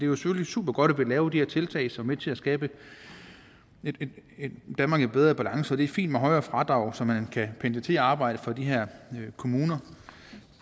jo supergodt at vi laver de her tiltag som er med til at skabe et danmark i bedre balance og det er fint med højere fradrag så man kan pendle til arbejde fra de her kommuner